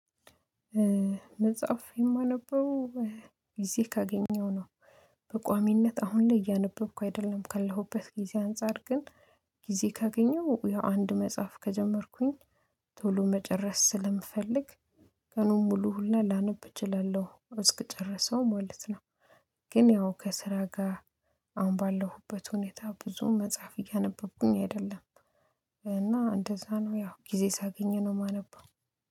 መጽሐፍ የማነበው ጊዜ ካገኘው ነው። በቋሚነት አሁን ላይ እያነበብኩ አይደለም ካለሁበት ጊዜ አንፃር ግን ጊዜ ካገኘሁ ያው አንድ መጽሐፍ ከጀመርኩኝ ቶሎ መጨረስ ስለምፈልግ ቀኑን ሙሉ ሁላ ላነብ እችላለሁ እስክጨረሰው ማለት ነው። ግን ያው ከስራ ጋ አሁን ባለሁበት ሁኔታ ብዙም መጽሐፍ እያነበብኩኝ አይደለም። እና እንደዛ ነው ያው ጊዜ ሳገኝ ነው የማነበው።